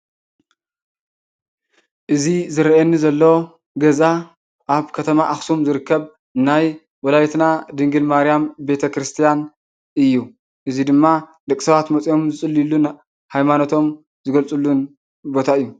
እዚ ዝረአየኒ ዘሎ ገዛ ኣብ ከተማ ኣኽሱም ዝርከብ ናይ ወላዲትና ድንግል ማርያም ቤተክርስትያን እዩ፡፡ እዚ ድማ ደቂ ሰባት መፅዮም ዝፅልዩልን ሃይማኖቶም ዝገልፁሉን ቦታ እዩ፡፡